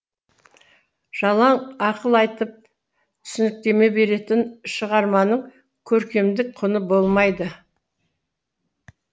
жалаң ақыл айтып түсініктеме беретін шығарманың көркемдік құны болмайды